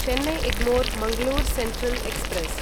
Chennai Egmore Mangalore Central express